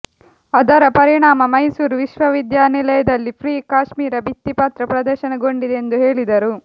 ಅದರ ಪರಿಣಾಮ ಮೈಸೂರು ವಿಶ್ವವಿದ್ಯಾನಿಲಯದಲ್ಲಿ ಫ್ರೀ ಕಾಶ್ಮೀರ ಭಿತ್ತಿ ಪತ್ರ ಪ್ರದರ್ಶನಗೊಂಡಿದೆ ಎಂದು ಹೇಳಿದರು